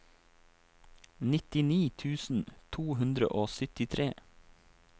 nittini tusen to hundre og syttitre